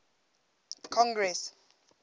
congress